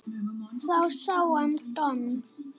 Þá sá hann Don